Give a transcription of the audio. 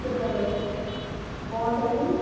ਕੌਣ ਕਹਿੰਦੀ?